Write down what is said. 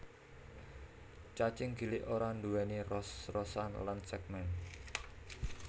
Cacing gilik ora nduwèni ros rosan lan sègmèn